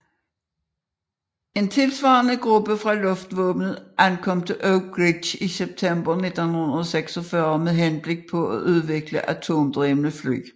En tilsvarende gruppe fra luftvåbenet ankom til Oak Ridge i september 1946 med henblik på at udvikle atomdrevne fly